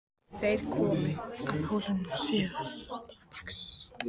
Þeir komu að Hólum síðla dags.